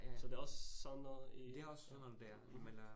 Så det også sådan noget i ja mh